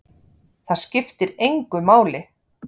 Það skiptir engu máli!